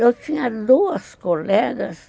Eu tinha duas colegas,